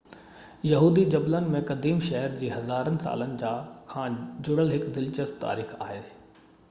يهودي جبلن ۾ قديم شهر جي هزارن سالن کان جڙيل هڪ دلچسپ تاريخ آهي